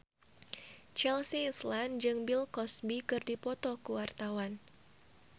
Chelsea Islan jeung Bill Cosby keur dipoto ku wartawan